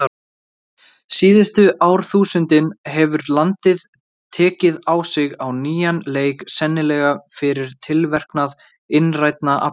Síðustu árþúsundin hefur landið tekið að síga á nýjan leik, sennilega fyrir tilverknað innrænna afla.